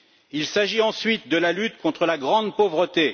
Il s'agit ensuite de la lutte contre la grande pauvreté.